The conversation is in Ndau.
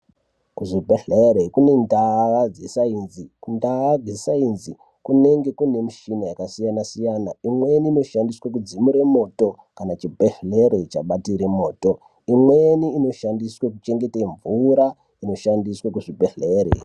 Kuzvibhehlere kune ndaa dzesainzi. Kundaa dzesainzi kunenge kune mishina yakasiyana siyana, imweni inoshandiswe kudzimure moto kana chibhehlere chabatire moto imweni inoshandiswe kuchengete mvura inoshandiswe kuzvibhehlere.